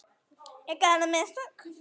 Ég gerði mistök.